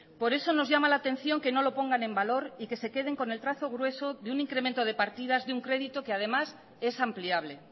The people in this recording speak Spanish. por eso nos llama la atención que no lo pongan en valor y que se queden con el trazo grueso de un incremento de partidas de un crédito que además es ampliable